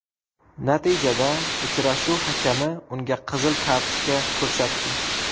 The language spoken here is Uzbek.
Natijada uchrashuv hakami unga qizil kartochka ko‘rsatdi.